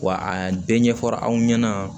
Wa a bɛɛ ɲɛfɔra aw ɲɛna